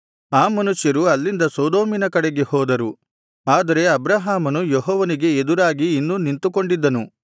ಆ ಮನುಷ್ಯರು ಅಲ್ಲಿಂದ ಸೊದೋಮಿನ ಕಡೆಗೆ ಹೋದರು ಆದರೆ ಅಬ್ರಹಾಮನು ಯೆಹೋವನಿಗೆ ಎದುರಾಗಿ ಇನ್ನೂ ನಿಂತುಕೊಂಡಿದ್ದನು